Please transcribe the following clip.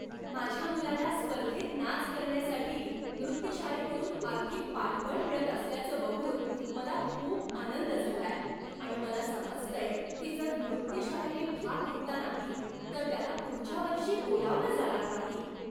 माझ्या मुलाला स्पर्धेत नाच करण्यासाठी नृत्य शाळेकडून आर्थिक पाठबळ मिळत असल्याचं बघून मला खूप आनंद झालाय आणि मला समजतंय की जर नृत्यशाळेने भाग घेतला नाही तर त्यांना पुढच्या वर्षी बोलावलं जाणार नाही.